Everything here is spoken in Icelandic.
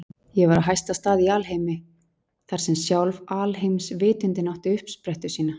Ég var á hæsta stað í alheimi, þar sem sjálf alheimsvitundin átti uppsprettu sína.